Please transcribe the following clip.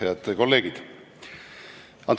Head kolleegid!